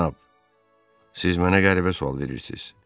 Cənab, siz mənə qəribə sual verirsiz.